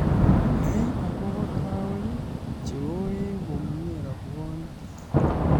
Nai akobo arawek che oei komye rabwonik